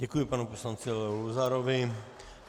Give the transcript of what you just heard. Děkuji panu poslanci Leo Luzarovi.